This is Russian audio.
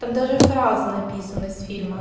там даже фразы написанны с фильма